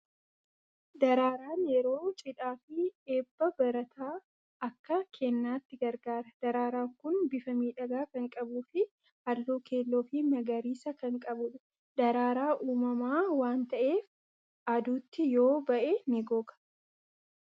Daraaraan yeroo cidhaa fi eebba barataa akka kennaatti gargaara. Daraaraan kun bifa miidhagaa kan qabuu fi halluu keelloo fi magariisa kan qabudha. Daraaraa uumamaa waan ta'eef aduutti yoo ba'e ni goga.